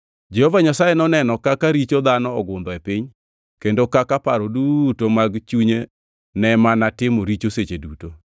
Jehova Nyasaye noneno kaka richo dhano ogundho e piny kendo kaka paro duto mag chunye ne mana timo richo seche duto.